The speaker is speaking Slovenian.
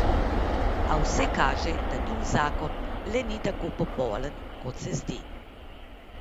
A vse kaže, da njun zakon le ni tako popoln, kot se zdi.